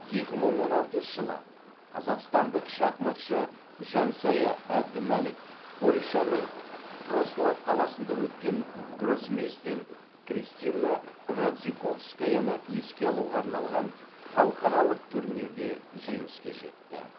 екі мың он алтыншы жылы қазақстандық шахматшы жансая әбдімәлік польшаның вроцлав қаласында өткен гроссмейстер кристина радзиковскаяны еске алуға арналған халықаралық турнирде жеңіске жетті